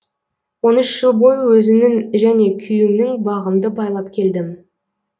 он уш жыл бойы өзімнің және күйеуімнің бағымды байлап келдім